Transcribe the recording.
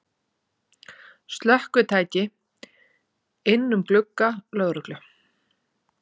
Slökkvitæki inn um glugga lögreglu